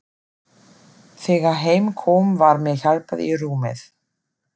Þegar heim kom var mér hjálpað í rúmið.